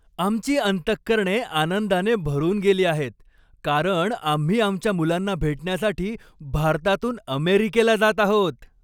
आमची अंतःकरणे आनंदाने भरून गेली आहेत, कारण आम्ही आमच्या मुलांना भेटण्यासाठी भारतातून अमेरिकेला जात आहोत.